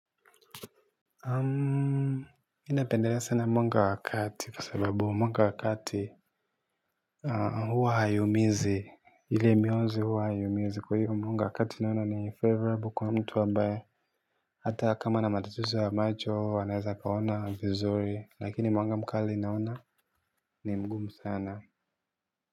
Mimi napendelea sana mwanga wa kati kwa sababu mwanga wa kati huwa hauumizi ile mionzi huwa haiumizi. Kwa hio mwanga wakati naona ni favourable kwa mtu. Hata kama ana matatizo ya macho, anaweza akaona vizuri, lakini mwanga mkali naona ni mgumu sana.